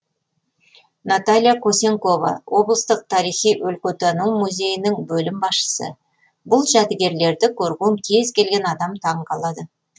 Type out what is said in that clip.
наталья косенкова облыстық тарихи өлкетану музейінің бөлім басшысы бұл жәдігерлерді көрген кез келген адам таңғалады